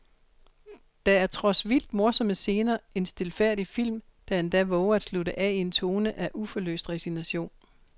Der er trods vildt morsomme scener en stilfærdig film, der endda vover at slutte af i en tone af uforløst resignation.